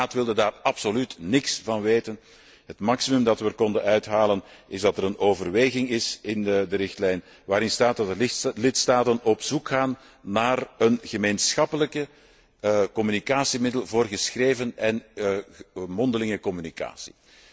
De Raad wilde daar absoluut niks van weten. Het maximum dat we eruit konden halen, is dat er een overweging in de richtlijn komt waarin staat dat de lidstaten op zoek gaan naar een gemeenschappelijk communicatiemiddel voor geschreven en mondelinge communicatie.